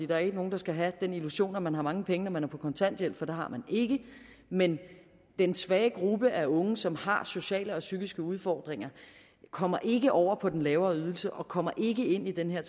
der er ikke nogen der skal have den illusion at man har mange penge når man er på kontanthjælp for det har man ikke men den svage gruppe af unge som har sociale og psykiske udfordringer kommer ikke over på den lavere ydelse og de kommer ikke ind i den her